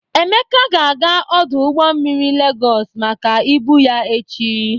Emeka ga-aga ọdụ ụgbọ mmiri Legọs maka ibu ya echi.